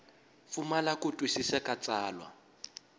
pfumala ku twisisa ka tsalwa